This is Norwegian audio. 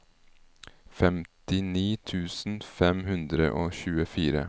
femtini tusen fem hundre og tjuefire